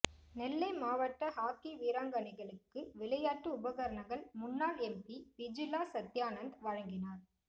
நெல்லை மாவட்ட ஹாக்கி வீராங்கனைகளுக்கு விளையாட்டு உபகரணங்கள் முன்னாள் எம்பி விஜிலா சத்யானந்த் வழங்கினார்